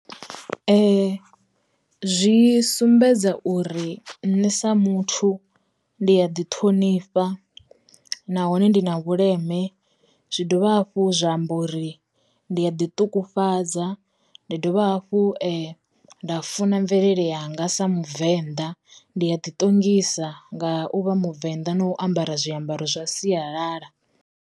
Zwi sumbedza uri nṋe sa muthu ndi ya ḓi ṱhonifha nahone ndi na vhuleme, zwi dovha hafhu zwa amba uri ndi a ḓi ṱungufhadza, ndi dovha hafhu nda funa mvelele yanga sa mubvenḓa, ndi a ḓi ṱongisa nga uvha muvenda, na u ambara zwi ambaro zwa sialala.